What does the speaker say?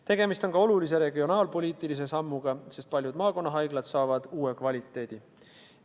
Tegemist on ka olulise regionaalpoliitilise sammuga, sest paljud maakonnahaiglad saavad uue kvaliteedi.